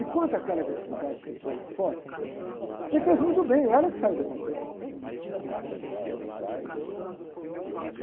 E quanto àquela agressividade que você põe para fora, você fez muito bem, ela que saiu do papel, não foi você que saiu do papel.